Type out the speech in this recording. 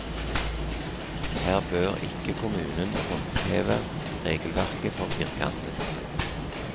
Her bør ikke kommunen håndheve regelverket for firkantet.